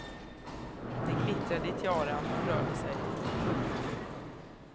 Det glittrade i tiaran när hon rörde sig. punkt